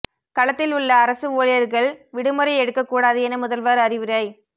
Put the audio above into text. களத்தில் உள்ள அரசு ஊழியர்கள் விடுமுறை எடுக்க கூடாது என முதல்வர் அறிவுரை